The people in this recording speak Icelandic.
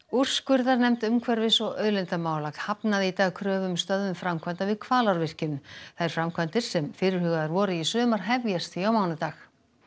úrskurðarnefnd umhverfis og auðlindamála hafnaði í dag kröfu um stöðvun framkvæmda við Hvalárvirkjun þær framkvæmdir sem fyrirhugaðar voru í sumar hefjast því á mánudaginn